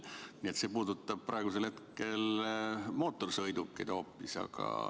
Nii et see puudutab praegusel hetkel hoopis mootorsõidukeid.